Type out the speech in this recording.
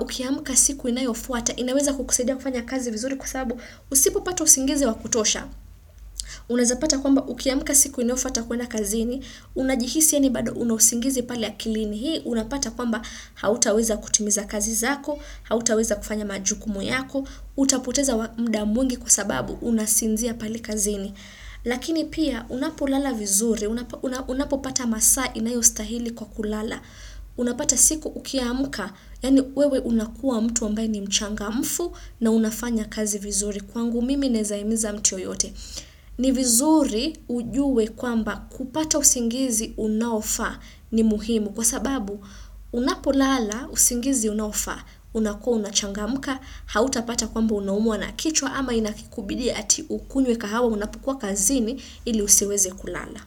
ukiamka siku inayofuata, inaweza kukusaidia kufanya kazi vizuri kwa saabu usipo pata usingizi wakutosha. Unaweza pata kwamba ukiamka siku inayofuata kwenda kazini, unajihisi eni bado unusingizi pali akili ni hii. Unapata kwamba hautaweza kutimiza kazi zako, hautaweza kufanya majukumu yako, utapoteza mda mwingi kwa sababu unasinzia pale kazini. Lakini pia unapolala vizuri, unapopata masaa inayostahili kwa kulala. Unapata siku ukiamuka, yani wewe unakua mtu ambaye ni mchanga mfu na unafanya kazi vizuri. Kwangu mimi nezahimiza mtu yoyote. Ni vizuri ujue kwamba kupata usingizi unaofaa ni muhimu kwa sababu unapolala usingizi unaofaa unakua unachangamka hauta pata kwamba unamwa na kichwa ama inakikubidi ati ukunywe kahawa unapokua kazini ili usiweze kulala.